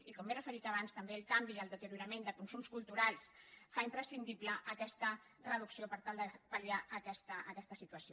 i com m’hi he referit abans també el canvi i el deteriorament dels consums culturals fa imprescindible aquesta reducció per tal de pal·liar aquesta situació